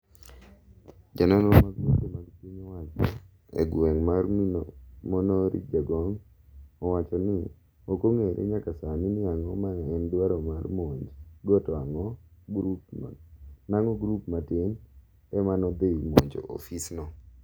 ja nonro mag weche mag piny owacho e gweng' mar monori Jagong owacho ni okong'ere nyaka sani ni ang'o ma en dwaro mar monj go to nang'o grup matin emanodhi monjo ofis no